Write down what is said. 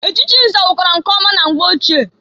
Echichi nze wukwara nke ọma na mgbe ochie.